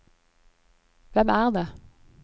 hvem er det